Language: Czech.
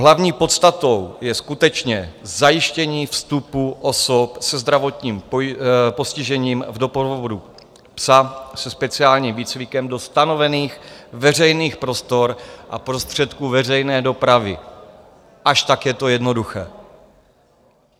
Hlavní podstatou je skutečně zajištění vstupu osob se zdravotním postižením v doprovodu psa se speciálním výcvikem do stanovených veřejných prostor a prostředků veřejné dopravy, až tak je to jednoduché.